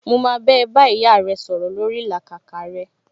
Mo máa bá ẹ bá ìyá rẹ sọ̀rọ̀ lórii ìlàkàkà rẹ